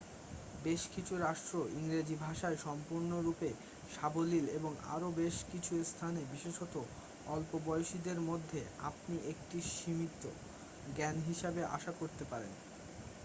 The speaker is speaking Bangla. বেশ কিছু রাষ্ট্র ইংরেজি ভাষায় সম্পূর্ণরূপে সাবলীল এবং আরও বেশ কিছু স্থানে বিশেষত অল্প বয়সীদের মধ্যে আপনি একটি সীমিত জ্ঞান হিসাবে আশা করতে পারেন